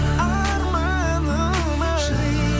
арманым ай